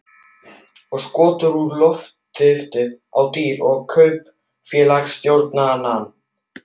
Og skotið úr loftriffli á dýr og kaupfélagsstjórann.